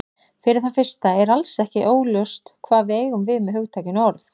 Fyrir það fyrsta er alls ekki ljóst hvað við eigum við með hugtakinu orð.